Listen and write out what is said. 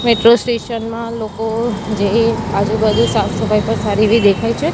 Metro station મા લોકો જેઇ આજુબાજુ સાફ સફાઈ પણ સારી એવી દેખાય છે.